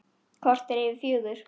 Korter yfir fjögur.